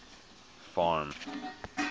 farm